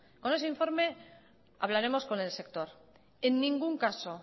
con ese informe hablaremos con el sector